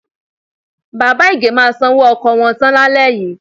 Bàbá Ìgè máa sanwó ọkọ̀ wọn tán lálẹ́ yìí.